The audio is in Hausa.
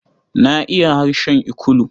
Na iya harshen Ikulu.